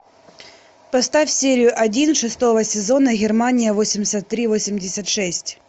поставь серию один шестого сезона германия восемьдесят три восемьдесят шесть